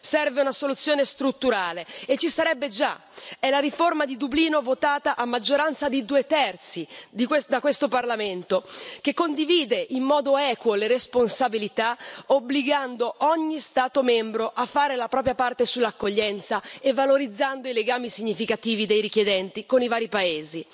Serve una soluzione strutturale e ci sarebbe già è la riforma di Dublino votata a maggioranza di due terzi da questo Parlamento, che condivide in modo equo le responsabilità, obbligando ogni Stato membro a fare la propria parte sull'accoglienza e valorizzando i legami significativi dei richiedenti con i vari paesi.